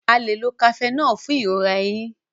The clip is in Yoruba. a lẹ ló Cafenol fún ìrora ẹhìn